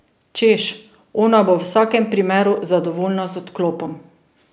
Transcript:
Češ, ona bo v vsakem primeru zadovoljna z odklopom.